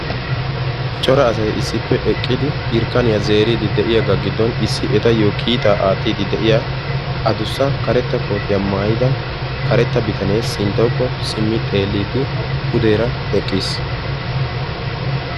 Cora asay issppe eqqidi irkkaniya zeeriiddi de'iyagaa giddon issi etayyo kiitaa aattiiddi de'iya adussa karetta kootiya maayda karetta bitanee sinttawukko simmi xeelliiddi pudeera eqqiis.